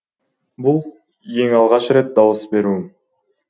бұл ең алғаш рет дауыс беруім